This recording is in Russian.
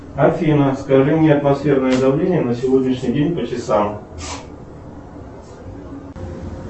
афина скажи мне атмосферное давление на сегодняшний день по часам